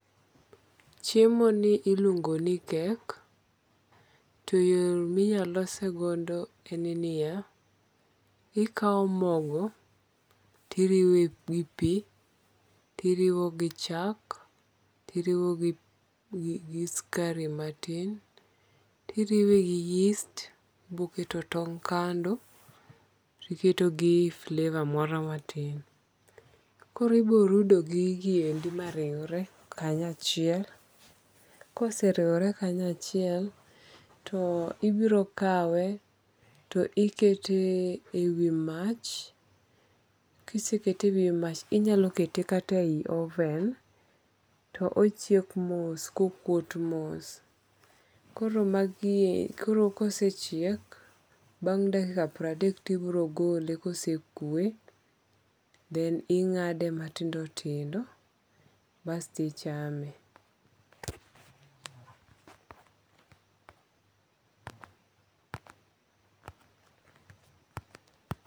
Chiemoni iluongoni cake to yo ma inyalo losego en ni ya, ikawo mogo tiriwe gi pi, to iriwo gichak to iriwe gi skari matin, tiriwe gi yeast, ibiro keto tong' kando iketo gi flavor moro matin koro ibiro rudo gigieki ma riwre kanya chiel, ka oseriwre kanya chiel, to ibiro kawe to ikete i wi mach, kisekete e wi mach to inyalo kete e yi oven to ochiek moss kokuot moss, koro magie e, koro ka osechiek bang' dakika pradek to ibiro gole kosekwe then inga'de matindo tindo basti ichame